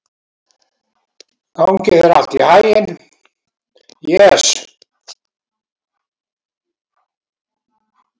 Gangi þér allt í haginn, Jes.